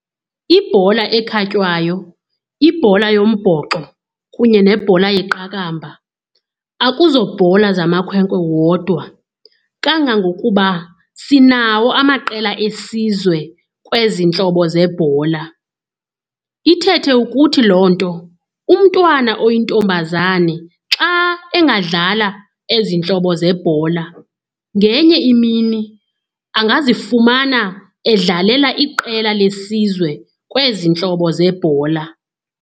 Ibhola ekhatywayo, ibhola yombhoxo kunye nebhola yeqakamba akuzobhola zamamakhwenkwe wodwa. Kangangokuba sinawo amaqela esizwe kwezi ntlobo zebhola. Ithethe ukuthi loo nto umntwana oyintombazane xa engadlala ezi ntlobo zeebhola, ngenye imini angazifumana edlalela iqela lesizwe kwezi ntlobo zebhola.